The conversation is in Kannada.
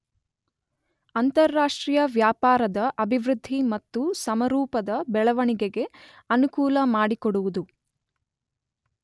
ಅಂತಾರಾಷ್ಟ್ರೀಯ ವ್ಯಾಪಾರದ ಅಭಿವೃದ್ಧಿ ಮತ್ತು ಸಮರೂಪದ ಬೆಳವಣಿಗೆಗೆ ಅನುಕೂಲ ಮಾಡಿಕೊಡುವುದು.